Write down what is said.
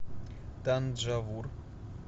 танджавур